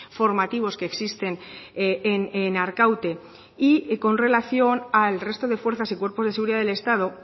formativos que existen en arkaute y con relación al resto de fuerzas y cuerpos de seguridad del estado